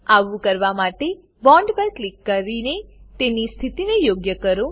આવું કરવા માટે બોન્ડ પર ક્લિક કરી ડ્રેગ કરીને તેની સ્થિતિને યોગ્ય કરો